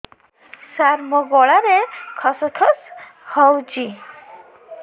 ସାର ମୋ ଗଳାରେ ଖସ ଖସ ହଉଚି